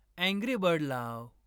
Angry bird लाव.